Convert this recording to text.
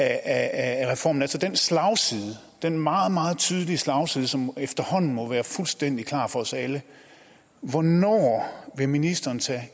af reformen altså den slagside den meget meget tydelige slagside som efterhånden må være fuldstændig klar for os alle hvornår vil ministeren tage